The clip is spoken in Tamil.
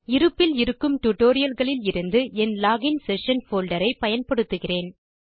இருப்பில் இருக்கும் டியூட்டோரியல் களில் இருந்து என் லோகின் செஷன் போல்டர் ஐ பயன்படுத்துகிறேன்